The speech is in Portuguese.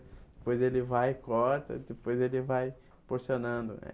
Depois ele vai e corta, depois ele vai porcionando eh.